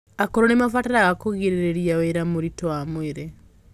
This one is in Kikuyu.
akũrũ nimarabatara kũgirĩrĩrĩa wĩra muritu wa mwĩrĩ